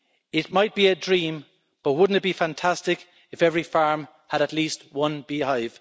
It might be a dream, but wouldn't it be fantastic if every farm had at least one beehive?